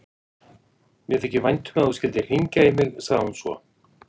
Mér þykir vænt um að þú skyldir hringja í mig, sagði hún svo.